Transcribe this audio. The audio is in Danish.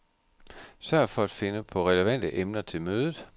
Sørg for at finde på relevante emner til mødet.